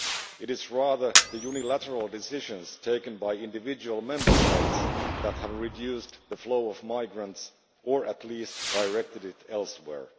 It is rather the unilateral decisions taken by individual Member States that have reduced the flow of migrants, or at least directed it elsewhere.